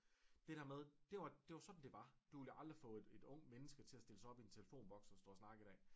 Det der med det var det var sådan det var du ville jo aldrig få et ungt menneske til at stille sig op i en telefonboks og snakke i dag